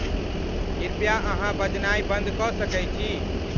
कृपया अहाँबजनई बंद क सके छी?